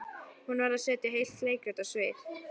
Hún varð að setja heilt leikrit á svið.